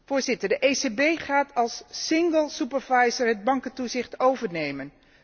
Voorzitter, de ECB gaat als single supervisor het bankentoezicht overnemen.